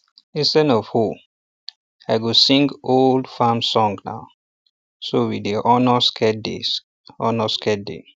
instead of hoe i um go sing um old um farm songna so we dey honour sacred dey honour sacred day